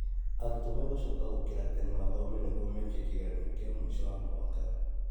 Arutwo megũcoka gũkĩra tene mathome nguo meke kĩgeranio kĩa mũico wa mwaka.